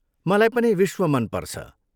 मलाई पनि विश्व मन पर्छ।